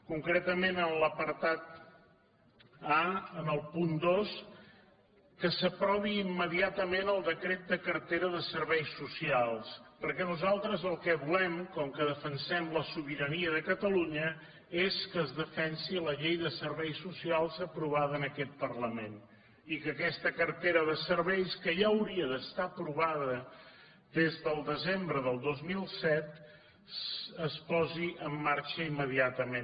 concretament en l’apartat a en el punt dos que s’aprovi immediatament el decret de cartera de serveis socials perquè nosaltres el que volem com que defensem la sobirania de catalunya és que es defensi la llei de serveis socials aprovada en aquest parlament i que aquesta cartera de serveis que ja hauria d’estar aprovada des del desembre del dos mil set es posi en marxa immediatament